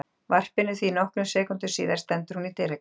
varpinu því nokkrum sekúndum síðar stendur hún í dyragætt